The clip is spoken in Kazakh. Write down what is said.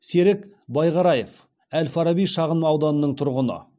серік байғараев әл фараби шағын ауданының тұрғыны